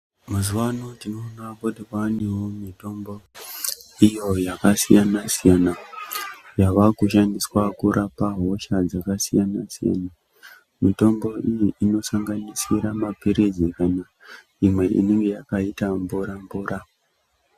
Mazuwano tinoonawo kuti kwaanewo mitombo iyo yakasiyana siyana yavakushandiswa kurapa hosha dzakasiyana siyana mitombo iyi inosanganisira maphirizi ,imwe inenge yakaita mvura mvura .